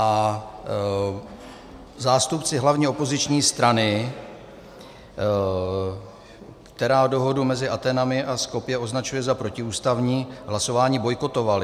A zástupci hlavní opoziční strany, která dohodu mezi Athénami a Skopje označuje za protiústavní, hlasování bojkotovali.